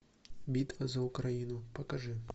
битва за украину покажи